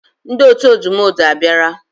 Ndi otu odumodu abiara